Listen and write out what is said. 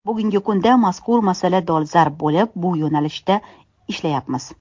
Bugungi kunda mazkur masala dolzarb bo‘lib, bu yo‘nalishda ishlayapmiz.